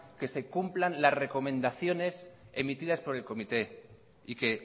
que se cumplan las recomendaciones emitidas por el comité y que